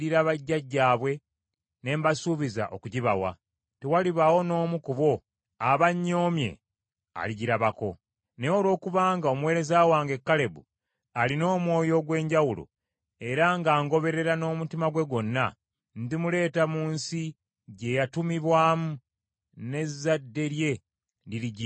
Naye olwokubanga omuweereza wange Kalebu alina omwoyo ogw’enjawulo era ng’angoberera n’omutima gwe gwonna, ndimuleeta mu nsi gye yatumibwamu, n’ezzadde lye lirigirya.